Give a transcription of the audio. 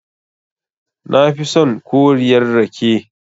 Nafi son koriyar rake.